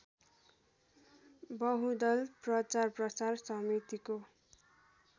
बहुदल प्रचारप्रसार समितिको